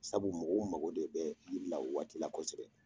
Sabu mɔgɔw mago de bɛ yiri la waati la kosɛbɛ.